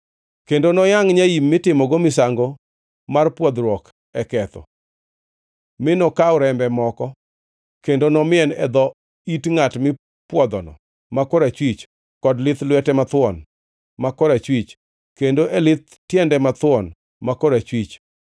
Kendo noyangʼ nyaim mitimogo misango mar pwodhruok e ketho, mi nokaw rembe moko, kendo nomien e dho it ngʼat mipwodhono ma korachwich, kod e lith lwete mathuon ma korachwich, kendo e lith tiende mathuon ma korachwich.